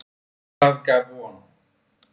Og það gaf von.